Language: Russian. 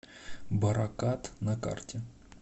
баракат на карте